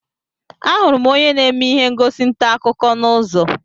Ahụrụ m onye na-eme ihe ngosi ntaakụkọ n'ụzọ